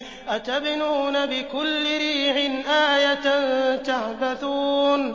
أَتَبْنُونَ بِكُلِّ رِيعٍ آيَةً تَعْبَثُونَ